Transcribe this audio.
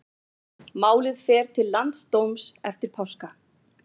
Málið fer til landsdóms eftir páska